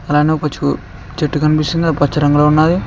అలానే ఒక చెట్టు కనిపిస్తుంది అది పచ్చ రంగులో ఉన్నాది.